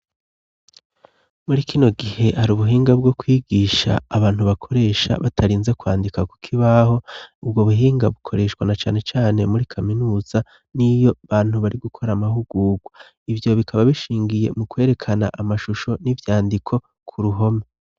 Muri kino gihe hari ubuhinga bwo kwigisha abantu bakoresha batarinze kwandika kukibaho ubwo buhinga bukoreshwa na cane cane muri kaminuza niyo abantu bari gukora amahugugwa ivyo bikaba bishingiye mu kwerekana amashusho n'ivyandiko ku ruhome.